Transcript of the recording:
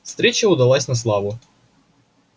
встреча удалась на славу